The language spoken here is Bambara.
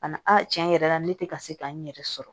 A na tiɲɛ yɛrɛ la ne tɛ ka se k'a n yɛrɛ sɔrɔ